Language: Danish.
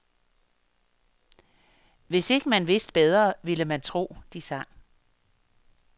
Hvis ikke man vidste bedre, ville man tro, de sang.